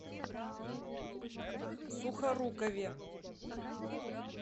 сухорукове